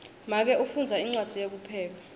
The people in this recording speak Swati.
make ufundza incwadzi yekupheka